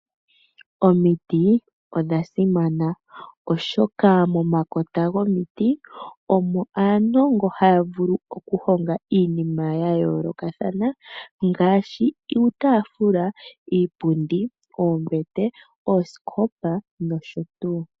Omiti odha simana oshoka momakota gwomiti omo aanongo haya vulu okuhonga iinima ya yolokathana ngaashi uutafula, iipundi, oombete, oosikopa nosho tuu.